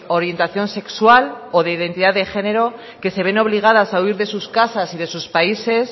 orientación sexual o de identidad de género que se ven obligadas a huir de sus casas y de sus países